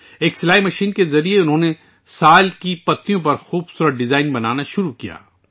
ایک سلائی مشین کے ذریعے انھوں نے سال کے پتوں پر خوب صورت ڈیزائن بنانا شروع کیے